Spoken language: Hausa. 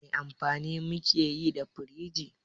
Wani amfani muke yi da firiji?